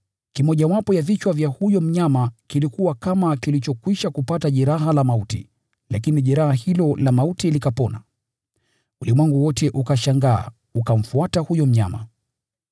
Kimojawapo ya vichwa vya huyo mnyama kilikuwa kama kilichokwisha kupata jeraha la mauti, lakini jeraha hilo la mauti likapona. Ulimwengu wote ukashangaa ukamfuata huyo mnyama.